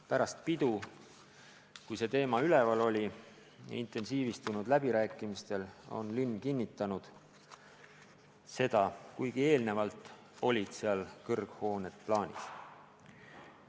Pärast pidu intensiivistunud läbirääkimistel on linn kinnitanud seda, kuigi eelnevalt olid seal kõrghooned plaanis.